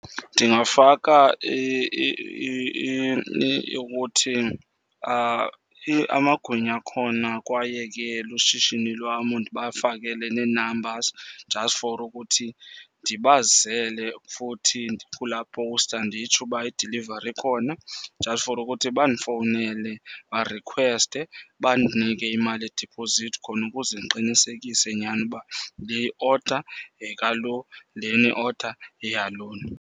Ndingafaka ukuthi amagwinya akhona kwaye ke lushishini lwamu ndibafakele nee-numbers just for ukuthi ndibazele. Futhi kulaa poster nditsho uba idilivari ikhona just for ukuthi bandifowunele barikhweste, bandinike imali yediphozithi khona ukuze ndiqinisekise nyhani uba le i-order yeka lo, lena i-order yeya lona.